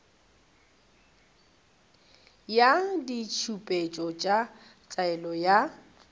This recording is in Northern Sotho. ya ditshepetšo tša taolo ya